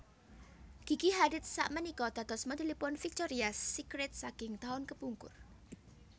Gigi Hadid sakmenika dados modelipun Victorias Secret saking taun kepungkur